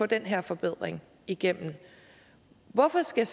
den her forbedring igennem hvorfor skal